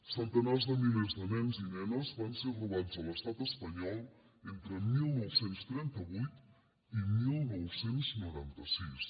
centenars de milers de nens i nenes van ser robats a l’estat espanyol entre dinou trenta vuit i dinou noranta sis